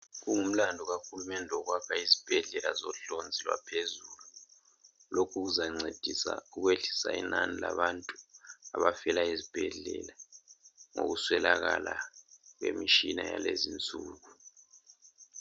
kungumlandu kahulumende ukwakha izibhedlela zohlonzi lwaphezulu lokhu kuzancedisa ukwehlisa inani labantu abafela ezibhedlela ngokuswelekala kwemitshina yalezi insuku